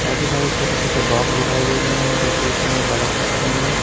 काफी सारे छोटे छोटे बॉम्ब दिखाई दे रहे हैं जो कि इसमें बलफ रखे हुए हैं।